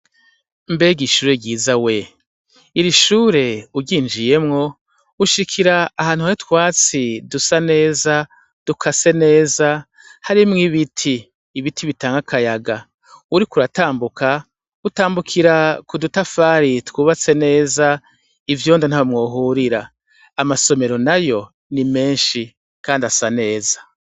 Mbega ishure ryiza we! Iri shure uryinjiyemwo ushikira ahantu Hari utwatsi dusa neza dukase neza harimwo ibiti, ibiti bitanga akayaga uriko uratamnuka utambukira ku dutafari twubatse neza ivyondo ntaho mwohurira amasomero nayo ni menshi kandi asa neza.